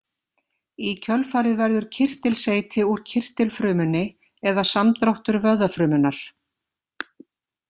Í kjölfarið verður kirtilseyti úr kirtilfrumunni eða samdráttur vöðvafrumunnar.